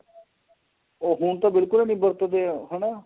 ਉਹ ਤਾਂ ਹੁਣ ਬਿਲਕੁਲ ਏ ਨਹੀਂ ਵਰਤਦੇ ਹੈਨਾ